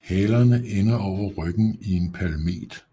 Halerne ender over ryggen i en palmet